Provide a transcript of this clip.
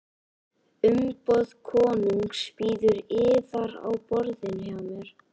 Umboð konungs bíður yðar á borðinu hjá mér.